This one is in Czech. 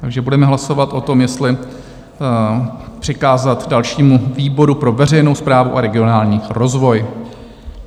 Takže budeme hlasovat o tom, jestli přikázat dalšímu, výboru pro veřejnou správu a regionální rozvoj.